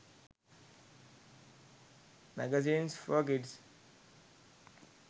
magazines for kids